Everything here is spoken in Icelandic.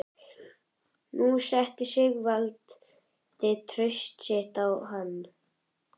Nú setti Sigvaldi traust sitt á hann.